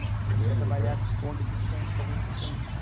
Comecei a trabalhar como recepcio como recepcionista.